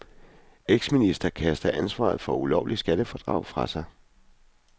Eksminister kaster ansvaret for ulovligt skattefradrag fra sig.